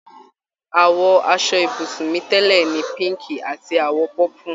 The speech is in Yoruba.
Àwọ̀ aṣọ ibùsùn mi tẹ́lẹ̀ ni píǹkì àti àwọ̀ pọ́pù